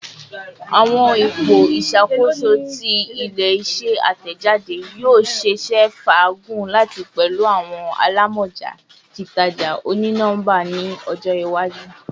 Awọn ipo iṣakoso ti ile-iṣẹ atẹjade yoo ṣeese faagun lati pẹlu awọn alamọja titaja oni-nọmba ni ọjọ iwaju